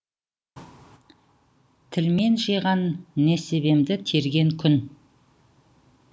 тілмен жиған несібемді терген күн